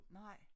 Nej